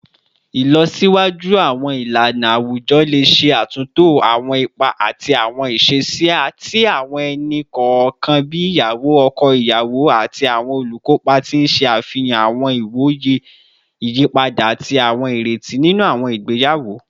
Ilọsiwaju awọn ilana awujọ le ṣe atunto awọn ipa ati awọn iṣesi ti awọn ẹni kọọkan bii iyawo, ọkọ iyawo, ati awọn olukopa, ti n ṣe afihan awọn iwoye iyipada ati awọn ireti ninu awọn igbeyawo